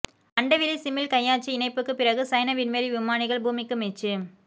அண்டவெளிச் சிமிழ் கையாட்சி இணைப்புக்குப் பிறகு சைன விண்வெளி விமானிகள் பூமிக்கு மீட்சி